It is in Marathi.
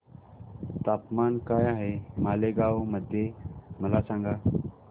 तापमान काय आहे मालेगाव मध्ये मला सांगा